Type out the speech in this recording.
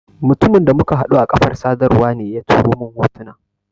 Mutumin da muka haɗu a kafar sadarwa ne ya turo mun hotunan.